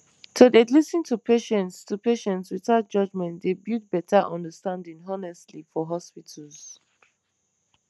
to dey lis ten to patients to patients without judgement dey build better understanding honestly for hospitals